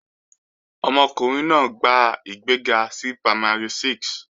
Ọmọkùnrin náà gba ìgbéga sí Primary 6